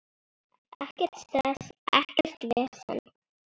Ekkert stress, ekkert vesen.